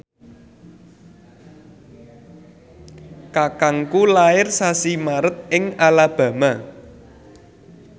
kakangku lair sasi Maret ing Alabama